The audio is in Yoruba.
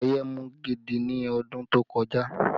Ọ̀yẹ́ mú gidi ni ọdún tó kọjá